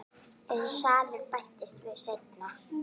Þessi salur bættist við seinna.